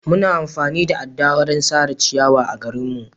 Muna amfani da adda wurin sare ciyawa a garinmu.